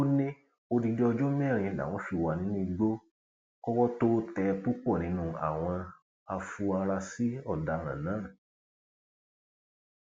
ó ní odidi ọjọ mẹrin làwọn fi wà nínú igbó kọwọ tóo tẹ púpọ nínú àwọn àfuarasí ọdaràn náà